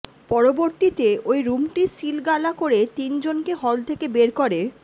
পরবর্তীতে ওই রুমটি সিলগালা করে তিন জনকে হল থেকে বের করে